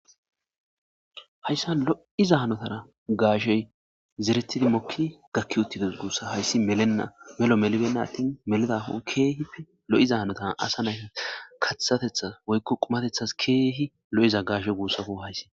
Hayisa loiza hanotara gashe zeretidi moki gakiutidosan hayisi melenan melo meliben hatin melidakko kehi loiza hanotan asa nay katateta woyikko qumatetas kehi loiza gashe gusakko hayisi.